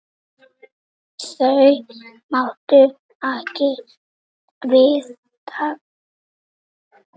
Þau máttu ekki við því.